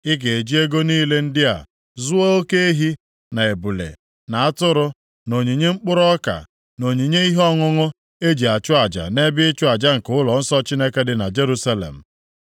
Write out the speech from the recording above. Ị ga-eji ego niile ndị a zụọ oke ehi, na ebule, na atụrụ, na onyinye mkpụrụ ọka, na onyinye ihe ọṅụṅụ, e ji achụ aja nʼebe ịchụ aja nke ụlọnsọ Chineke dị na Jerusalem.